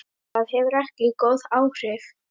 Það hefur ekki góð áhrif.